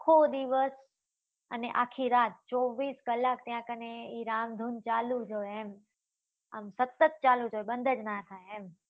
આખો દિવસ અને આખી રાત ચોવીસ કલાક ત્યાં કને એ રામ ધૂન ચાલુ જ હોય એમ આમ સતત ચાલુ જ હોય બંદ જ નાં થાય એમ